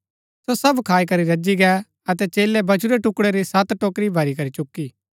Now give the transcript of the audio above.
सो सब खाई करी रजी गै अतै चेलै बचुरै टुकड़ै री सत टोकरी भरी करी चुकी